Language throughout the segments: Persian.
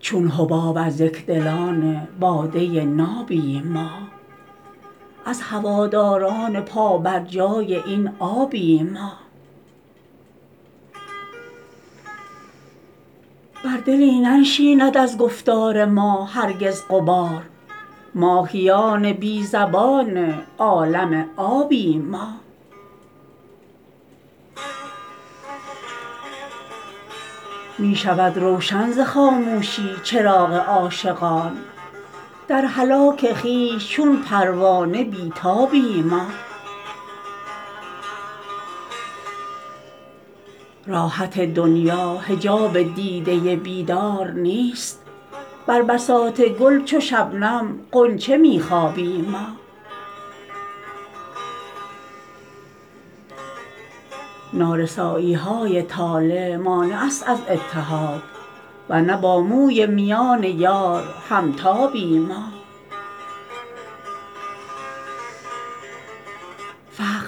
چون حباب از یکدلان باده نابیم ما از هواداران پا بر جای این آبیم ما بر دلی ننشیند از گفتار ما هرگز غبار ماهیان بی زبان عالم آبیم ما می شود روشن ز خاموشی چراغ عاشقان در هلاک خویش چون پروانه بی تابیم ما راحت دنیا حجاب دیده بیدار نیست بر بساط گل چو شبنم غنچه می خوابیم ما نارسایی های طالع مانع است از اتحاد ور نه با موی میان یار همتابیم ما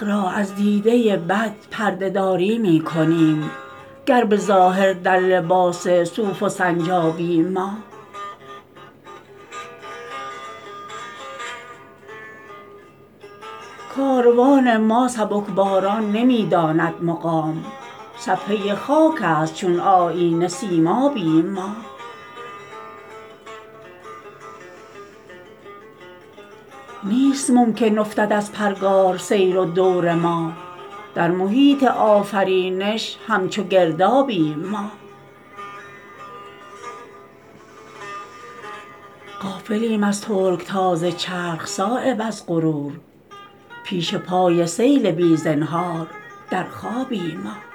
فقر را از دیده بد پرده داری می کنیم گر به ظاهر در لباس صوف و سنجابیم ما کاروان ما سبکباران نمی داند مقام صفحه خاک است چون آیینه سیمابیم ما نیست ممکن افتد از پرگار سیر و دور ما در محیط آفرینش همچو گردابیم ما غافلیم از ترکتاز چرخ صایب از غرور پیش پای سیل بی زنهار در خوابیم ما